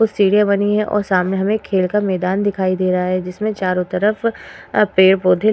कुछ सीढ़िया बनी है और सामने हमें खेल का मैदान दिखाई दे रहा है। जिसमें चारों तरफ अ पेड़ पौधे --